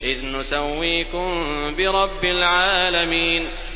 إِذْ نُسَوِّيكُم بِرَبِّ الْعَالَمِينَ